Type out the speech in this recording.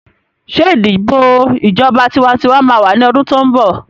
Ṣé ìdìbò ìjọba tiwantiwa máa wà ní ọdún tó ń bọ̀?